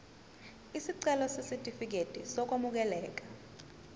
isicelo sesitifikedi sokwamukeleka